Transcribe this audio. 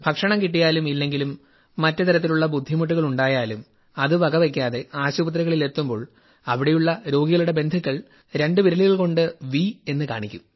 ഭക്ഷണം കിട്ടിയാലും ഇല്ലെങ്കിലും മറ്റു തരത്തിലുള്ള ബുദ്ധിമുട്ടുകൾ ഉണ്ടായാലും അത് വകവെയ്ക്കാതെ ആശുപത്രികളിൽ എത്തുമ്പോൾ അവിടെയുള്ള രോഗികളുടെ ബന്ധുക്കൾ രണ്ടു വിരലുകൾ കൊണ്ട് ഢ എന്നു കാണിക്കും